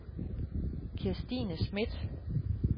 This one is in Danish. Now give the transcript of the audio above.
Kirstine Smidt